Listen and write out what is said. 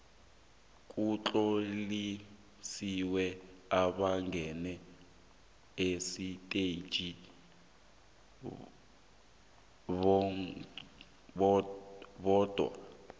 kutlonyeliswe abangene esiteji bodwa